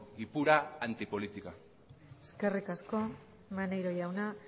y pura antipolítica eskerrik asko maneiro jauna